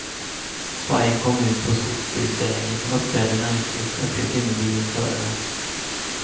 Vargen kom ut på skogsbilvägen och uppträdde märkligt, uppger timmerbilens förare.